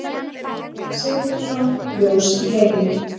Einar Sigurbjörnsson: Ljós í heimi.